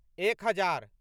एक हजार